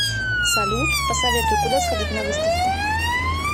салют посоветуй куда сходить на выставку